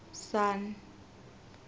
sun